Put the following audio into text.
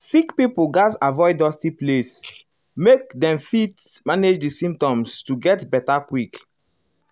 sick pipo gatz avoid dusty place make dem fit manage di symptoms to get beta quick.